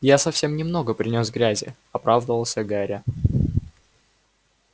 я совсем немного принёс грязи оправдывался гарри